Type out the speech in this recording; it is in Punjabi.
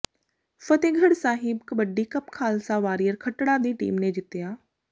ਫ਼ਤਹਿਗੜ੍ਹ ਸਾਹਿਬ ਕਬੱਡੀ ਕੱਪ ਖ਼ਾਲਸਾ ਵਾਰੀਅਰ ਖੱਟੜਾ ਦੀ ਟੀਮ ਨੇ ਜਿੱਤਿਆ